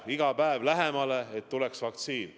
Ja iga päevaga tuleb ju vaktsiin lähemale.